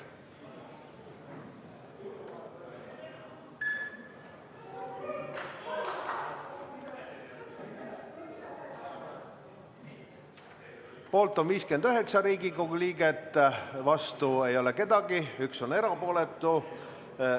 Poolt on 59 Riigikogu liiget, vastu ei ole kedagi, üks on erapooletu.